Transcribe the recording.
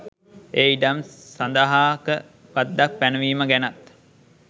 ඒ ඉඩම් සඳහාක බද්දක් පැනවීම ගැනත්.